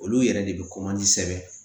Olu yɛrɛ de bɛ sɛbɛn